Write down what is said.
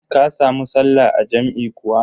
Ka samu sallah a jam'i kuwa?